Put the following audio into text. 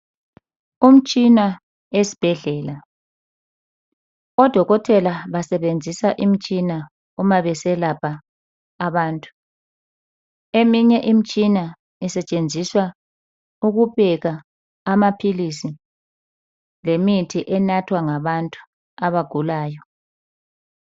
Umtshina esbhedlela. Odokotela besebenzisa imtshina uma beselapha abantu. Eminye imtshina isetshenziswa ukupeka amaphilisi lemithi enathwa ngabantu abagulayo.